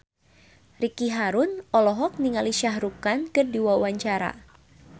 Ricky Harun olohok ningali Shah Rukh Khan keur diwawancara